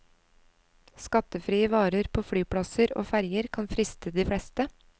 Skattefrie varer på flyplasser og ferger kan friste de fleste.